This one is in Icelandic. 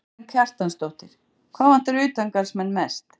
Karen Kjartansdóttir: Hvað vantar utangarðsmenn mest?